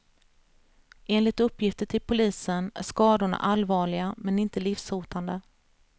Enligt uppgifter till polisen är skadorna allvarliga, men inte livshotande.